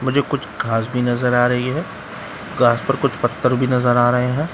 मुझे कुछ घास भी नजर आ रही है घास पर कुछ पत्थर भी नजर आ रहे हैं ।